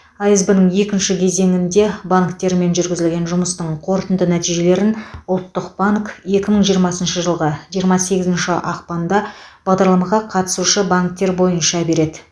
асб ның екінші кезеңінде банктермен жүргізілген жұмыстың қорытынды нәтижелерін ұлттық банк екі мың жиырмасыншы жылғы жиырма сегізінші ақпанда бағдарламаға қатысушы банктер бойынша береді